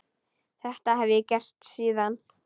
Þetta hef ég gert síðan.